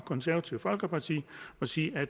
konservative folkeparti og sige at